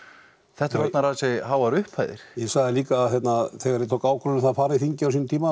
þetta eru orðnar ansi háar upphæðir ég sagði líka að þegar ég tók ákvörðun um að fara á þingið á sínum tíma